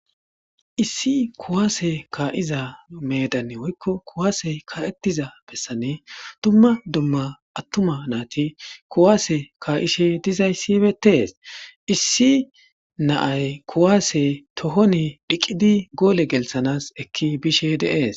Issi kuwase kaa'iza meedani woykko kuwase kaa'eyza bessan dumma dumma attuma nayti kuwase kaa'ishe dizaysi beetees. Issi na'ay kuwase tohoni dhiqidinne goole gelthanaas ekki bishe de'es.